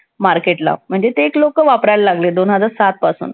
Market ला म्हणजे ते एक लोकं वापरायला लागले दोन हजार सातपासून.